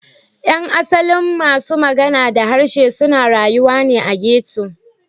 Yan asalin masu magana da harshe suna rayuwa ne a ghetto.